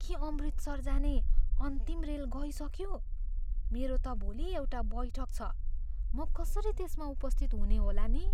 के अमृतसर जाने अन्तिम रेल गइसक्यो? मेरो त भोलि एउटा बैठक छ, म कसरी त्यसमा उपस्थित हुनेहोला नि?